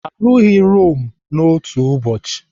Arụghị Rome n'otu ụbọchị.